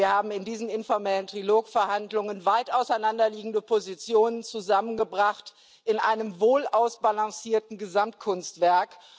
Wir haben in diesen informellen Trilog Verhandlungen weit auseinanderliegende Positionen zusammengebracht in einem wohlausbalancierten Gesamtkunstwerk.